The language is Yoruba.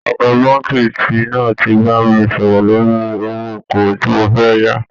Ọ̀gá Báńkì ti náà ti bá mi sọ̀rọ̀ lórí owó okòwò tí mo fẹ́ yá